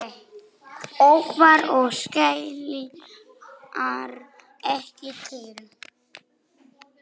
Ófærð og skaflar ekki til.